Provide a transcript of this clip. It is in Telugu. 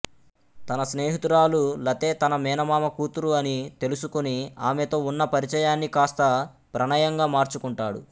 తన స్నేహితురాలు లతే తన మేనమామ కూతురు అని తెలుసుకుని ఆమెతో ఉన్న పరిచయాన్ని కాస్తా ప్రణయంగా మార్చుకుంటాడు